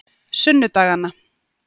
sunnudaganna